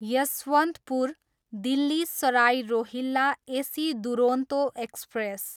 Yesvantpur, Delhi Sarai Rohilla AC Duronto express